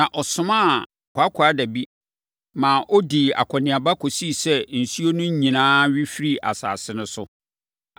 na ɔsomaa kwaakwaadabi, ma ɔdii akɔneaba kɔsii sɛ nsuo no nyinaa we firii asase no so.